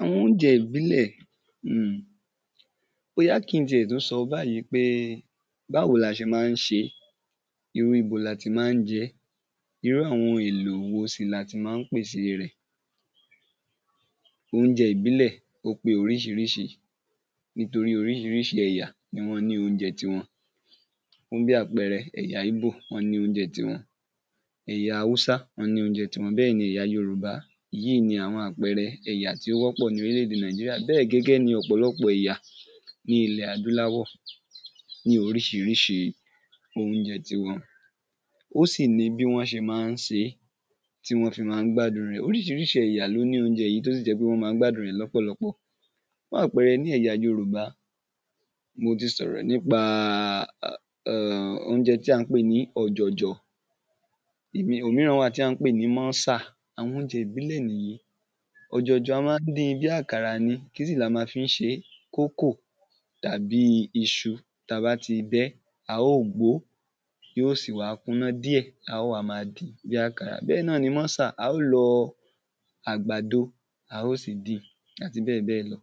àwọn oúnjẹ ìbílẹ̀ um, bóyà kí n ti ẹ̀ tún sọ báyí pé, báwo la a ṣe ma ń ṣe é, irú ibo la ti ma ń jẹ ẹ́, irú àwọn èlò wo sì la ti ma ń pèse e rẹ̀ oúnjẹ ìbílẹ̀, ó pé oríṣiríṣi, nítorí oríṣiríṣi ẹ̀yà ni wọ́n ní oúnjẹ tiwọn fún bí àpẹẹrẹ, ẹ̀ya ìgbò, wọ́n ní oúnjẹ tiwọn, ẹ̀ya hausa, wọ́n ní oúnjẹ tiwọn, bẹ́ẹ̀ ni ẹ̀ya yorùbá, èyí i ni àwọn àpẹrẹ ẹ̀yà tí ó wọ́pọ̀ í orílẹ̀-ède nàìjíríà bẹ́ẹ̀ gẹ́gẹ́ ni ọ̀pọ̀lọpọ̀ ẹ̀yà ní ilẹ adúláwọ̀ ní oríṣiríṣi oúnjẹ tiwọn, ó sì ní bí wọ́n ṣe ma ń se é tí wọ́n fi ma ń gbádun rẹ̀ oríṣiríṣi ẹ̀yà ló ní oúnjẹ èyí tó sì jẹ́ pé wọ́n ma ń gbádun rẹ̀ lọ́pọ̀lọpọ̀, fún àpẹrẹ ní ẹ̀ya yorùbá, mo ti sọ̀rọ̀ nípa um oúnjẹ tí à ń pè ní ọ̀jọ̀jọ̀ um òmíràn wà tí à ń pè ní mọ́sà, àwọn oúnjẹ ìbílẹ̀ nìyí. ọ̀jọ̀jọ̀ a ma ń din bí àkàrà ni, kí sì ni a ma fi ń ṣe é kókò tàbí iṣu, tá bá ti bẹ́ a óò gbo ó, yóò sì wá kúná díẹ̀, á ó wá máa dín bí àkàrà bẹ́ẹ̀ náà ni mọ́sà, a ó lọ ag̀bàdo, a ó sì dín, àti bẹ́ẹ̀ bẹ́ẹ̀ lọ